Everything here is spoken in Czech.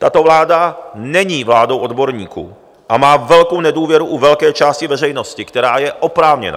Tato vláda není vládou odborníků a má velkou nedůvěru u velké části veřejnosti, která je oprávněná.